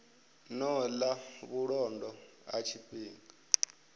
ṱo ḓa vhulondo ha tshifhinga